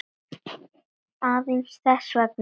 Aðeins þess vegna.